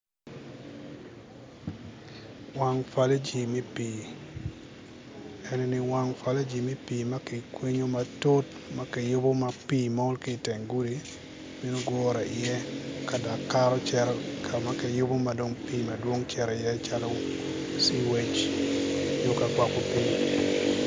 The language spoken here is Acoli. Wang faliji me pii eni wang faliji me pii ma kikwinyo matut ma kiyubo ma pii mol ki teng gudi bino gure i iye ka dok kato cito ka kiyubo ma dong pii madwong cito i iye calo sea wage nyo ka gwoko pii